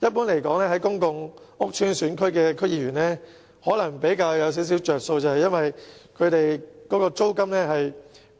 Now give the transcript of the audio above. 一般而言，公共屋邨選區的區議員的處境可能比較好一點，因為辦事處租金